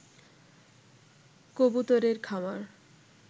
কবুতর এর খামার